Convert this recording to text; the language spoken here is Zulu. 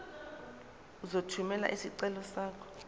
uzothumela isicelo sakho